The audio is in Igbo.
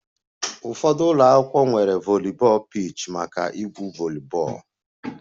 Ụfọdụ ụlọ akwụkwọ nwere volleyball pitch maka igwu volleyball